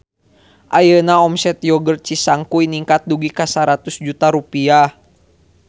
Ayeuna omset Yogurt Cisangkuy ningkat dugi ka 100 juta rupiah